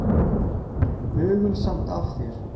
Hugulsamt af þér.